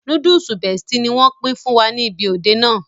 Núdúùsù Bestie ni wọ́n pín fún wa ní ibi òde náà